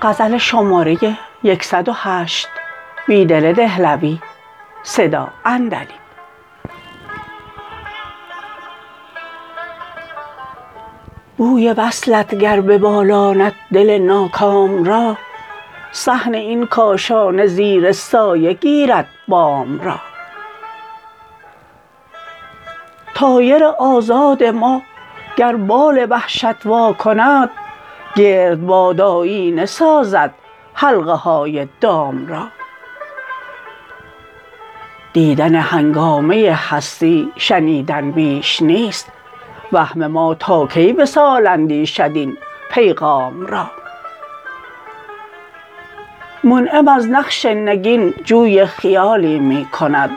بوی وصلت گر ببالاند دل ناکام را صحن این کاشانه زیر سایه گیرد بام را طایر آزاد ماگر بال وحشت واکند گردباد آیینه سازد حلقه های دام را دیدن هنگامه هستی شنیدن بیش نیست وهم ما تا کی وصال اندیشد این پیغام را منعم از نقش نگین جوی خیالی می کند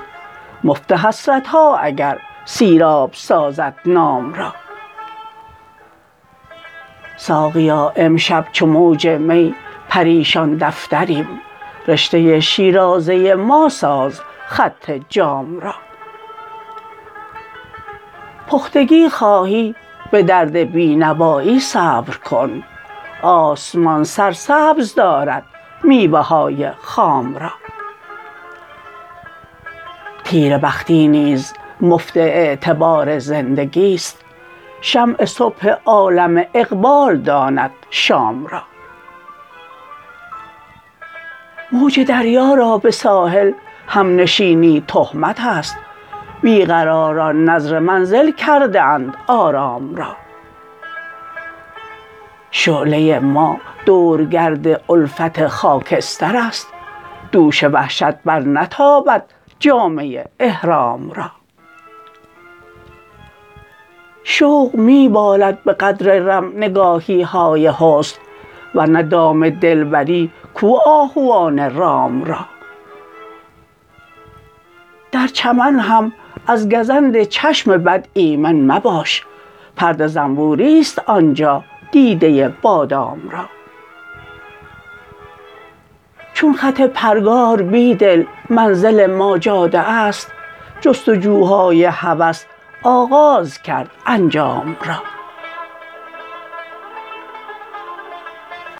مفت حسرتها اگر سیراب سازد نام را ساقیا امشب چو موج می پریشان دفتریم رشته شیرازة ما ساز خط جام را بختگی خواهی به درد بی نوایی صبرکن آسمان سرسبز دارد میوه های خام را نیره بختی نیز مفت اعتبار زندگی ست شمع صبح عالم اقبال داند شام را موج دریا را به ساحل همنشینی تهمت است بیقراران نذر منزل کرده اند آرام را شعله ما دورگرد الفت خاکستر است دوش وحشت برنتابد جامه احرام را شوق می بالد به قدر رم نگاهیهای حسن ورنه دام دلبری کو آهوان رام را درچمن هم ازگزند چشم بد ایمن مباش پرده زنبوری ست آنجا دیدة بادام را چون خط پرگار بیدل منزل ما جاده است جستجوهای هوس آغازکرد انجام را